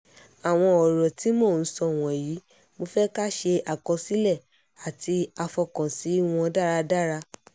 àwọn ọ̀rọ̀ tí mò ń sọ wọ̀nyí mo fẹ́ ká ṣe àkọsílẹ̀ àti àfọkànsí wọn dáradára